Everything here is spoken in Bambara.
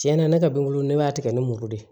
Tiɲɛna ne ka bilu ne b'a tigɛ ni muru de ye